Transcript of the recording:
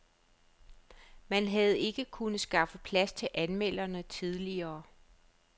Man havde ikke kunnet skaffe plads til anmelderne tidligere.